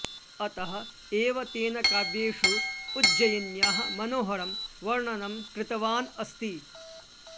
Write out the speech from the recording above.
अतः एव तेन काव्येषु उज्जयिन्याः मनोहरं वर्णनं कृतवान् अस्ति